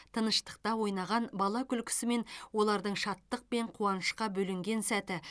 тыныштықта ойнаған бала күлкісі мен олардың шаттық пен қуанышқа бөленген сәті